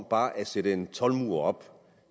bare at sætte en toldmur op